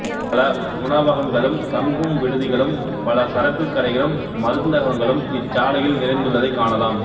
பல உணவகங்களும் தங்குவிடுதிகளும் பலசரக்குக் கடைகளும் மருந்தகங்களும் இச்சாலையில் நிறைந்துள்ளதைக் காணலாம்